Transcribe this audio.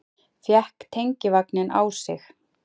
Fékk tengivagninn á sig